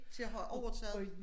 Til at have overtaget